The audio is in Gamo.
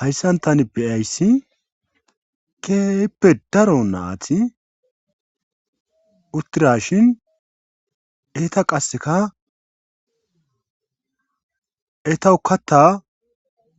Hayssan tani beyayssi keeyeppe daro naati uttirashin eeta qaseka etawu katta